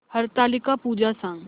हरतालिका पूजा सांग